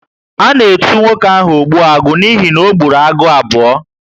A na etu nwoke ahu 'Ogbuagu' n'ihi na ọ ogburu agụ abuo